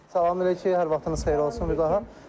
Salam əleyküm, hər vaxtınız xeyir olsun bir daha.